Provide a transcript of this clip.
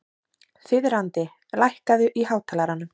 Þiðrandi, lækkaðu í hátalaranum.